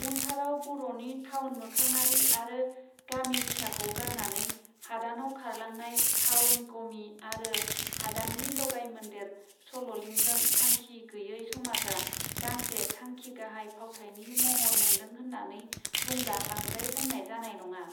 उनथाराव बरनि थाउन मोखाङारि आरो गामि बिथाखौ गारनानै हादानाव खारलांनाय थाउन गमि आरो हादाननि लगाय मोन्देर सललिंजों थांखि गैये समाजआ गांसे थांखि गाहाइ फावथायनि महर मोनदों होननानै बुंब्ला बांद्राय बुंनाय जानाय नङा.